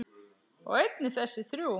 og einnig þessi þrjú